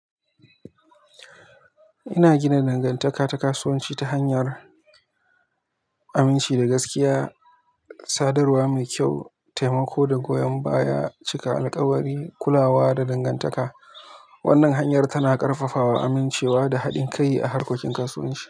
Ina gina dangantaka ta kasuwanci ta hanyar aminci da gaskiya, sadarwa mai kyau, taimako da goyon baya, cika alkawari, kulawa da dangantaka. Wannan hanyar tana ƙarfafawa amincewa da haɗin kai a harkokin kasuwanci.